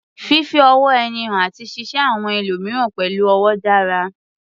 Fífi ọ̀wọ̀ ara ẹni hàn àti ṣíṣe àwọn ẹlòmíràn pẹ̀lú ọ̀wọ̀ dára